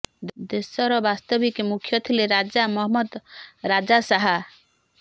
ଦେଶର ବାସ୍ତବିକ ମୁଖ୍ୟ ଥିଲେ ରାଜା ମହମ୍ମଦ ରାଜା ଶାହା